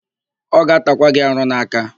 Ọ ga-atakwa gị arụ n'aka.